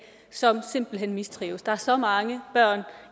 som simpelt hen mistrives der er så mange børn